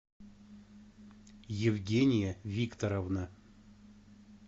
евгения викторовна